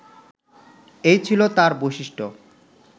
এই ছিল তাঁর বৈশিষ্ট্য